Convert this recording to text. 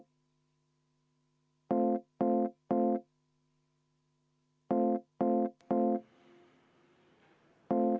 Asi selge!